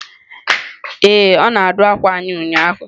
Ee, ọ na-adụ akwa anyị ụnyahụ.